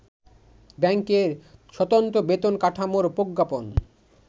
ব্যাংকের স্বতন্ত্র বেতন কাঠামোর প্রজ্ঞাপন